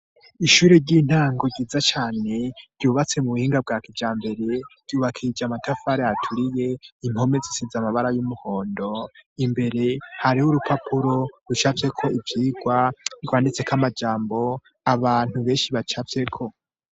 Ishure ry'intango ryiza cane, ryubatse mu buhinga bwa kijambere, ryubakishije amatafari aturiye, impome zisize amabara y'umuhondo, imbere hariho urupapuro rucafyeko ivyigwa, rwanditseko amajambo, abantu benshi bacafyeko.